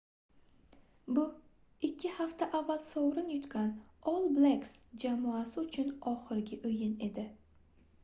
bu ikki hafta avval sovrin yutgan all blacks jamoasi uchun oxirgi oʻyin edi